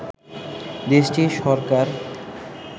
দেশটির সরকার